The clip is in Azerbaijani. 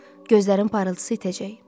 Gözlərin parıltısı itəcək.